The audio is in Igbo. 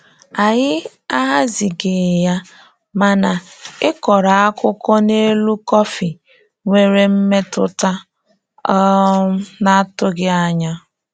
Anyị ahazighị ya, mana ịkọrọ akụkọ n'elu kọfị nwere mmetụta um na-atụghị anya.